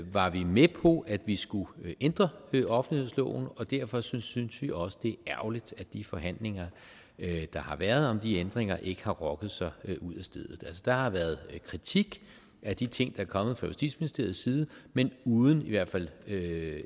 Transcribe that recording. var vi med på at vi skulle ændre offentlighedsloven og derfor synes synes vi også det er ærgerligt at de forhandlinger der har været om de ændringer ikke har rokket sig ud af stedet der har været kritik af de ting er kommet fra justitsministeriets side men uden i hvert fald ikke